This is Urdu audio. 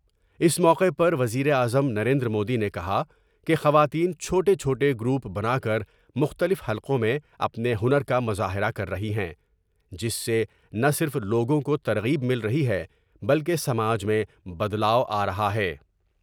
اس موقع پر وزیر اعظم نریندر مودی نے کہا کہ خواتین چھوٹے چھوٹے گروپ بنا کر مختلف حلقوں میں اپنے ہنر کا مظاہرہ کر رہی ہیں ، جس سے نہ صرف لوگوں کو ترغیب مل رہی ہے ، بلکہ سماج میں بدلاؤ آ رہا ہے ۔